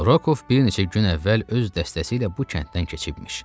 Rokov bir neçə gün əvvəl öz dəstəsi ilə bu kənddən keçibmiş.